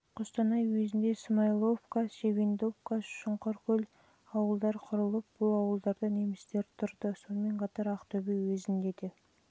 жылы қостанай уезінде смаиловка чебендовка шұңқыркөл және ауылдар құрылып бұл ауылдарда немістер тұрды сонымен қатар ақтөбе уезінде де